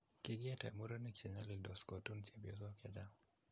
Kigietee Murenikk chenyalildoos kotun chepyosok chechaang'